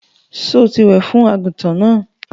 Sọ tí wẹ̀ fún àgùntàn náà?